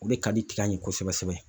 O de ka di tiga yɛn .kosɛbɛ kosɛbɛ